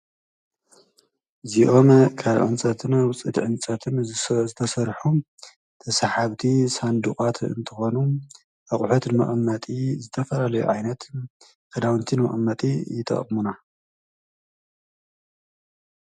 ዚኦም ካልዑንጸትን ውፅድ ዕንጸትም ዝተሠርሑ ተሠሓብቲ ሳንድቓት እንተኾኑ ኣቝዐትንመቕመጢ ዝተፈረለዮ ኣይነት ኽዳውንቲን ምዕመጢ ይጠቕሙና።